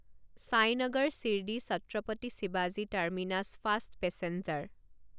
ছাইনগৰ শিৰদী ছত্ৰপতি শিৱাজী terminus fast passenger